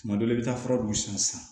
Tuma dɔ la i bɛ taa fura dun san